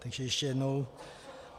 Takže ještě jednou.